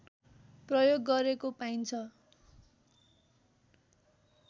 प्रयोग गरेको पाइन्छ